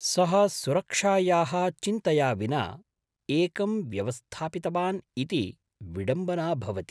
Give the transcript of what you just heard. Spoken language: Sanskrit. सः सुरक्षायाः चिन्तया विना एकं व्यवस्थापितवान् इति विडम्बना भवति।